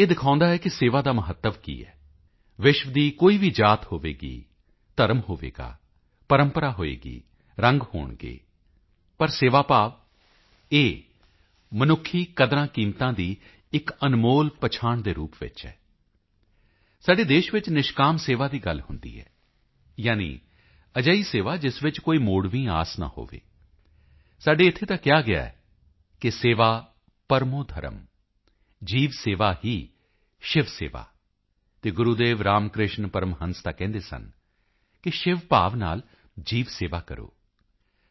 ਇਹ ਦਿਖਾਉਦਾ ਹੈ ਕਿ ਸੇਵਾ ਦਾ ਮਹੱਤਵ ਕੀ ਹੈ ਵਿਸ਼ਵ ਦੀ ਕੋਈ ਵੀ ਜਾਤ ਹੋਵੇਗੀ ਧਰਮ ਹੋਵੇਗਾ ਪ੍ਰੰਪਰਾ ਹੋਵੇਗੀ ਰੰਗ ਹੋਣਗੇ ਪਰ ਸੇਵਾਭਾਵ ਇਹ ਮਨੁੱਖੀ ਕਦਰਾਂਕੀਮਤਾਂ ਦੀ ਇੱਕ ਅਨਮੋਲ ਪਹਿਚਾਣ ਦੇ ਰੂਪ ਵਿੱਚ ਹੈ ਸਾਡੇ ਦੇਸ਼ ਵਿੱਚ ਨਿਸ਼ਕਾਮ ਸੇਵਾ ਦੀ ਗੱਲ ਹੁੰਦੀ ਹੈ ਯਾਨਿ ਅਜਿਹੀ ਸੇਵਾ ਜਿਸ ਵਿੱਚ ਕੋਈ ਮੋੜਵੀਂ ਆਸ ਨਾ ਹੋਵੇ ਸਾਡੇ ਇੱਥੇ ਤਾਂ ਕਿਹਾ ਗਿਆ ਹੈ ਕਿ ਸੇਵਾ ਪਰਮੋ ਧਰਮ ਜੀਵਸੇਵਾ ਹੀ ਸ਼ਿਵਸੇਵਾ ਅਤੇ ਗੁਰੂਦੇਵ ਰਾਮਕ੍ਰਿਸ਼ਨ ਪਰਮਹੰਸ ਤਾਂ ਕਹਿੰਦੇ ਸਨ ਸ਼ਿਵਭਾਵ ਨਾਲ ਜੀਵਸੇਵਾ ਕਰੋ